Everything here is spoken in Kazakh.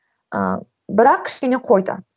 ыыы бірақ кішкене қойды